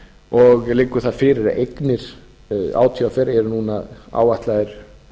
og liggur það fyrir að eignir átvr eru núna áætlaðar